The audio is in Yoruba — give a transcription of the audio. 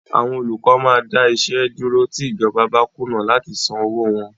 Àwọn olùkọ́ máa dáwọ́ iṣẹ́ dúró tí ìjọba bá kùnà láti san owóo wọn.